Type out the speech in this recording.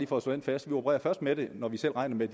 for at slå det fast vi opererer først med det når vi selv regner med